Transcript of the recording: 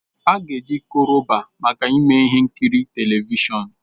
A ga eji Koroba maka ime ihe nkiri televishọn